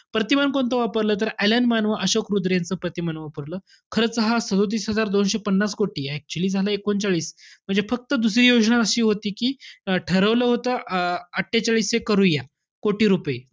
प्रतिमान कोणतं वापरलं? तर अ‍ॅलन मान व अशोक रुद्र यांचं प्रतिमान वापरलं. खरं तर हा सदोतीस हजार दोनशे पन्नास कोटी आहे. हा actually झाला एकोणचाळीस. म्हणजे फक्त दुसरी योजना अशी होती कि ठरवलं होत अं अट्ठेचाळीस हे करूया, कोटी रुपये.